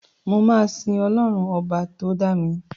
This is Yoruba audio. Mò máa sín ọlọ́run ọba tó dá mi.